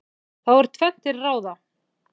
Þá er tvennt til ráða.